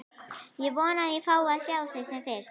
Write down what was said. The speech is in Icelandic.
Ég vona að ég fái að sjá þig sem fyrst.